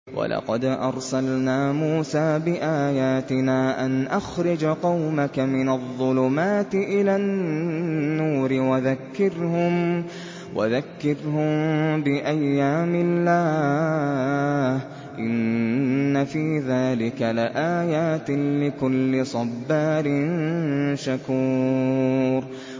وَلَقَدْ أَرْسَلْنَا مُوسَىٰ بِآيَاتِنَا أَنْ أَخْرِجْ قَوْمَكَ مِنَ الظُّلُمَاتِ إِلَى النُّورِ وَذَكِّرْهُم بِأَيَّامِ اللَّهِ ۚ إِنَّ فِي ذَٰلِكَ لَآيَاتٍ لِّكُلِّ صَبَّارٍ شَكُورٍ